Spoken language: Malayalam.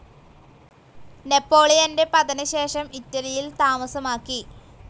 നെപോളിയന്റെ പതനശേഷം ഇറ്റലിയിൽ താമസമാക്കി.